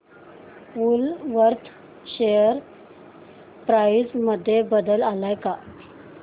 Woolworth share price मध्ये बदल आलाय का